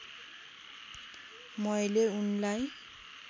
मैले उनलाई